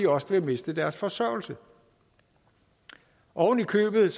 også vil miste deres forsørgelse ovenikøbet